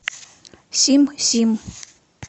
сим сим